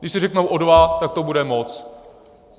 Když si řeknou o dva, tak to bude moc.